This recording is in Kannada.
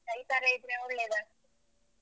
ಇತರ ಇದ್ರೆ ಒಳ್ಳೇದಾ.